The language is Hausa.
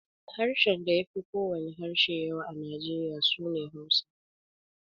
Harshen da ya fi ko wane harshe yawa a Nijeriya su ne Hausa.